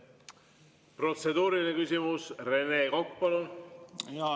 Protseduuriline küsimus, Rene Kokk, palun!